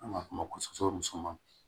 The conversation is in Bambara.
An b'a f'o ma ko sɔkɔ muso